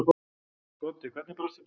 Broddi: Hvenær brast þetta á?